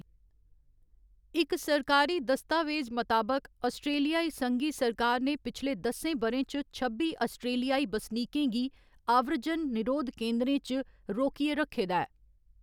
इक सरकारी दस्तावेज मताबक, आस्ट्रेलियाई संघी सरकार ने पिछले दसें ब'रें च छब्बी आस्ट्रेलियाई बसनीकें गी आव्रजन निरोध केंदरें च रोकियै रक्खे दा ऐ।